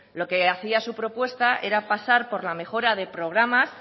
lo que hacía su propuesta era pasar por la mejora de programas